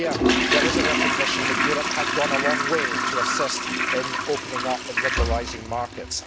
Here, there is a recognition that Europe has gone a long way to assist in opening up and liberalising markets.